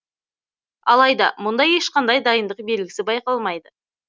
алайда мұнда ешқандай дайындық белгісі байқалмайды